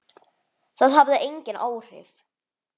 Það hafði engin áhrif.